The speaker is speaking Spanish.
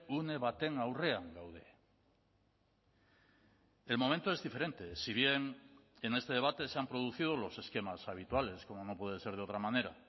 une baten aurrean gaude el momento es diferente si bien en este debate se han producido los esquemas habituales como no puede ser de otra manera